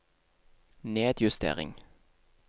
nedjustering